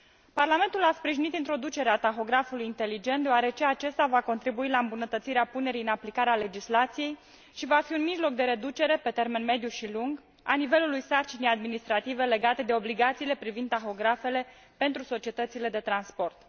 Parlamentul a sprijinit introducerea tahografului inteligent, deoarece acesta va contribui la îmbunătățirea punerii în aplicare a legislației și va fi un mijloc de reducere, pe termen mediu și lung, a nivelului sarcinii administrative legate de obligațiile privind tahografele pentru societățile de transport.